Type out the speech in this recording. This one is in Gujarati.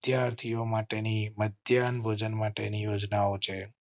વિદ્યાર્થીઓ માટે ની મધ્યાહ્ન ભોજન માટે ની યોજનાઓ છે.